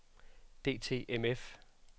DTMF